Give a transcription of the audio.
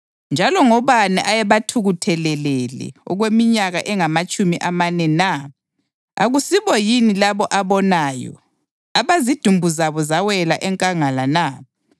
Njalo ngobani ayebathukuthelele okweminyaka engamatshumi amane na? Akusibo yini labo abonayo, abazidumbu zabo zawela enkangala na?